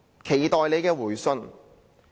期待你的回信。